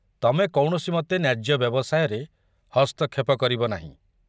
ତମେ କୌଣସିମତେ ନ୍ୟାଯ୍ୟ ବ୍ୟବସାୟରେ ହସ୍ତକ୍ଷେପ କରିବ ନାହିଁ।